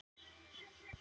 Já og ég hef gert það.